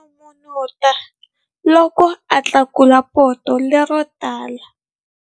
A n'unun'uta loko a tlakula poto lero tika.